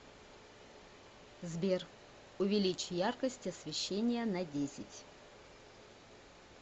сбер увеличь яркость освещения на десять